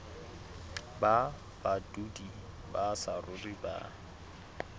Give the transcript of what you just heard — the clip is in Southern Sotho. ba badudi ba saruri ba